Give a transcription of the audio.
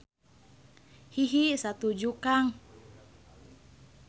Hihi satuju Kang.